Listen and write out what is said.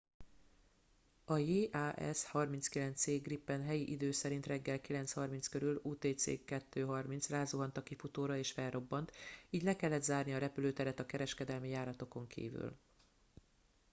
a jas 39c gripen helyi idő szerint reggel 9:30 körül utc 02:30 rázuhant a kifutóra és felrobbant így le kellett zárni a repülőteret a kereskedelmi járatokon kívül